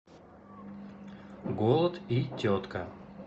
голод и тетка